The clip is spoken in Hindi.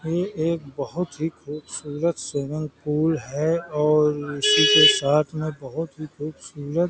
यह एक बहुत ही खूबसूरत स्विमिंग पूल है और इसी के साथ में बहुत ही खूबसूरत --